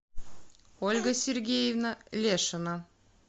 ольга сергеевна лешина